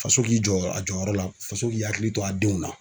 Faso k'i jɔ a jɔyɔrɔ la faso k'i hakili to a denw na